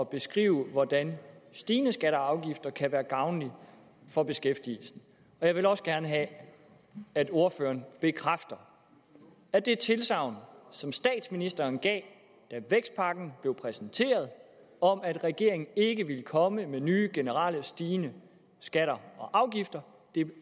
beskrive hvordan stigende skatter og afgifter kan være gavnligt for beskæftigelsen jeg vil også gerne have at ordføreren bekræfter at det tilsagn som statsministeren gav da vækstpakken blev præsenteret om at regeringen ikke ville komme med nye generelle stigende skatter og afgifter